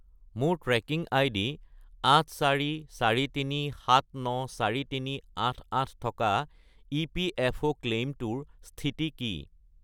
মোৰ tracking ID 8443794388 থকা EPFO ক্লেইমটোৰ স্থিতি কি?